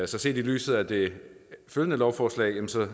set i lyset af det følgende lovforslag